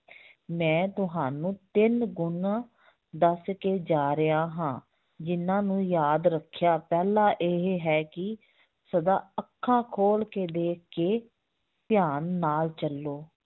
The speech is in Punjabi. ਮੈਂ ਤੁਹਾਨੂੰ ਤਿੰਨ ਗੁਣ ਦੱਸ ਕੇ ਜਾ ਰਿਹਾ ਹਾਂ ਜਿੰਨਾਂ ਨੂੰ ਯਾਦ ਰੱਖਿਆ, ਪਹਿਲਾ ਇਹ ਹੈ ਕਿ ਸਦਾ ਅੱਖਾਂ ਖੋਲ ਕੇ ਦੇਖ ਕੇ ਧਿਆਨ ਨਾਲ ਚੱਲੋ